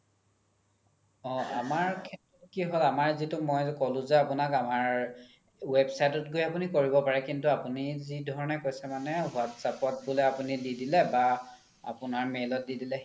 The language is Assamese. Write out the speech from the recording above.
অ আমাৰ কি হ্'ল আমাৰ যিতো মই ক্'লো যে আপোনাক আমাৰ website ত গৈ আপোনি কৰিব পাৰে কিন্তু আপোনি যি ধৰণে কৈছে মানে whatsapp বুলে আপোনি দি দিলে বা আপোনাৰ mail দি দিলে